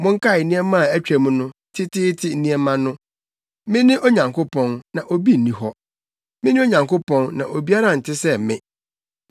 Monkae nneɛma a atwam no, teteete nneɛma no; Mene Onyankopɔn, na obi nni hɔ; Mene Onyankopɔn, na obiara nte sɛ me.